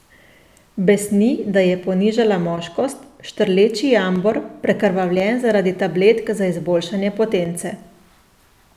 Besni, da je ponižala moškost, štrleči jambor, prekrvavljen zaradi tabletk za izboljšanje potence.